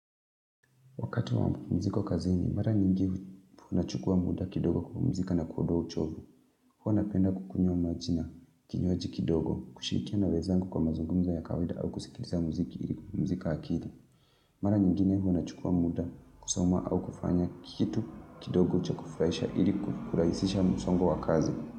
Wakati wa mzigo kazini, mara nyingi unachukua muda kidogo kupumzika na kuodoa uchovu. Huwa napenda kukunywa maji na, kinywaji kidogo, kushirikia na wezangu kwa mazungumzo ya kawaida au kusikiliza muziki ili kupumzika akili. Mara nyingine huwa nachukua muda kusoma au kufanya kitu kidogo cha kufurahisha ili kurahisisha musongo wa kazi.